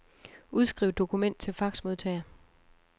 Udskriv dokument til faxmodtager.